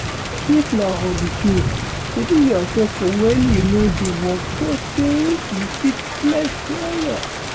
If na holiday, schedule yourself for when you no dey work so say you fit flex well well